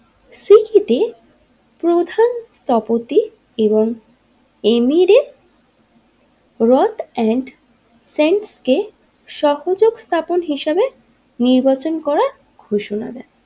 প্রধান তপিত এবং এমিরিক রোট এন্ড সেন্ট কে সহযোগ স্থাপন হিসাবে নির্বাচন করার ঘোষণা দেন।